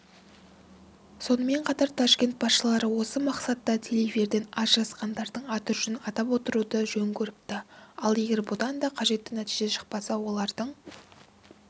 сонымен қатар ташкент басшылар осы мақсатта телеэфирден ажырасқандардың аты-жөнін атап отыруды жөн көріпті ал егер бұдан да қажетті нәтиже шықпаса олардың